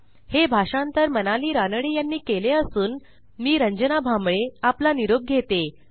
हे भाषांतर मनाली रानडे यांनी केले असून आवाज रंजन भांबळे यांचा आहे